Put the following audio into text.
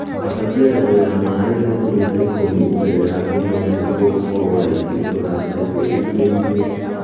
Ambatia levo ya maĩĩ centimita ikũmi mbele ya kũmunya nĩguo gũkorwo raithi gũthambia tĩri mĩri-inĩ